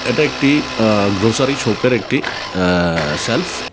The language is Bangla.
এটা একটি আ্য গ্রসারি শপের একটি আ্য সেলফ ।